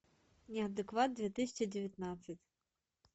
неадекват две тысячи девятнадцать